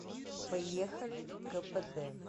поехали кпд